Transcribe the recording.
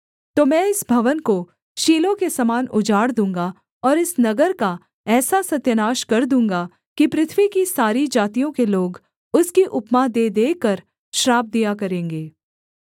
तो मैं इस भवन को शीलो के समान उजाड़ दूँगा और इस नगर का ऐसा सत्यानाश कर दूँगा कि पृथ्वी की सारी जातियों के लोग उसकी उपमा दे देकर श्राप दिया करेंगे